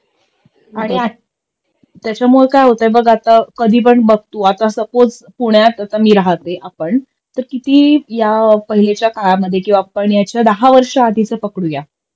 आणि आता त्याच्यामुळे काय होतंय बघ आता कधीपण बघ तू आता सपोझ पुण्यात आता मी राहते आपण तर किती या पहीलेच्या काळामध्ये किंवा आपण याच्या दहा वर्षी आधीच पकडूया